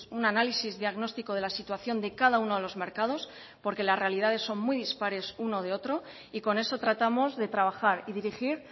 un análisis diagnóstico de la situación de cada uno de los mercados porque las realidades son muy dispares uno de otro y con eso tratamos de trabajar y dirigir